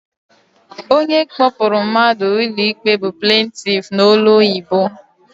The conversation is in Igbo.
Onye kpọpụrụ mmadụ ụlọikpe bụ plentif n'olu ọyibo.